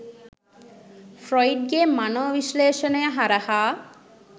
Freud ගේ මනෝ විශ්ලේෂණය හරහා.